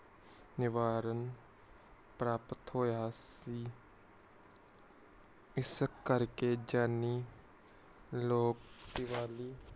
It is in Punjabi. ਨਿਬਾਰਨ ਪ੍ਰਾਪਤ ਹੋਇਆ ਸੀ ਇਸ ਕਰਕੇ ਜਾਨੀ ਲੋਕ ਦੀਵਾਲੀ